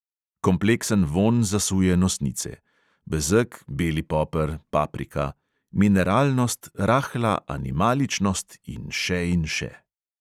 Kompleksen vonj zasuje nosnice: bezeg, beli poper, paprika ... mineralnost, rahla animaličnost in še in še …